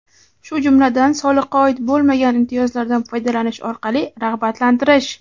shu jumladan soliqqa oid bo‘lmagan imtiyozlardan foydalanish orqali rag‘batlantirish;.